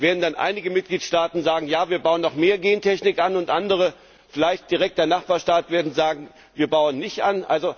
Werden dann einige Mitgliedstaaten sagen, Ja, wir bauen noch mehr Gentechnik an, und andere, vielleicht direkt der Nachbarstaat, werden sagen, wir bauen nicht an?